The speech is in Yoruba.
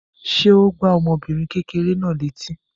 Ṣé ó gbá ọmọbìnrin kékeré náà létí?